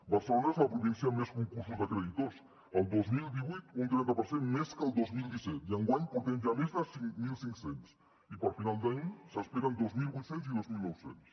barcelona és la província amb més concursos de creditors el dos mil divuit un trenta per cent més que el dos mil disset i enguany en portem ja més de mil cinc cents i per final d’any se n’esperen dos mil vuit cents i dos mil nou cents